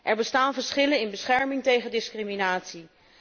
Er bestaan verschillen in bescherming tegen discriminatie.